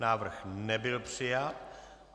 Návrh nebyl přijat.